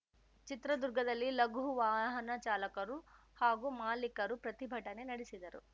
ಚಿತ್ರದುರ್ಗದಲ್ಲಿ ಲಘು ವಾಹನ ಚಾಲಕರು ಹಾಗೂ ಮಾಲೀಕರು ಪ್ರತಿಭಟನೆ ನಡೆಸಿದರು